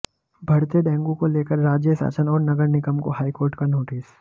बढ़ते डेंगू को लेकर राज्य शासन और नगर निगम को हाईकोर्ट का नोटिस